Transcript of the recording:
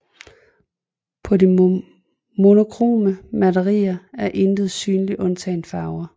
På de monokrome malerier er intet synligt undtagen farver